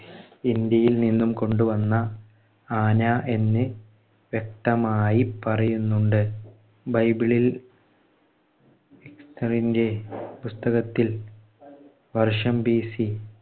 ഇന്ത്യയിൽ നിന്നും കൊണ്ട് വന്ന ആന എന്ന് വ്യക്തമായി പറയുന്നുണ്ട്. ബൈബിളിൽ എസ്തറിന്‍ടെ പുസ്തകത്തിൽ വർഷം BC